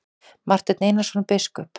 Marteinn Einarsson biskup!